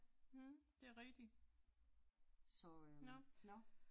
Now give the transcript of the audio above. Mh, det er rigtigt. Nåh